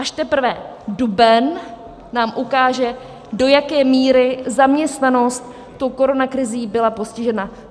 Až teprve duben nám ukáže, do jaké míry zaměstnanost tou koronakrizí byla postižena.